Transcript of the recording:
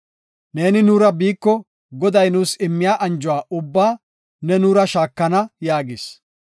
Neeni nuura biiko, Goday nuus immiya anjuwa ubbaa Nu new shaakana” yaagis.